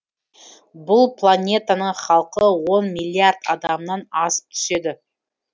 бұл планетаның халқы он миллиард адамнан асып түседі